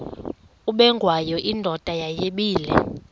ubengwayo indoda yayibile